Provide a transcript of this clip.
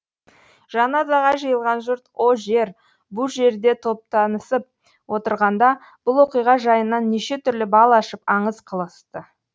жаназаға жиылған жұрт о жер бұ жерде топтанысып отырғанда бұл оқиға жайынан неше түрлі бал ашып аңыз қылысты